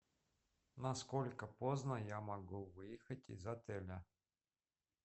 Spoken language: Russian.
на сколько поздно я могу выехать из отеля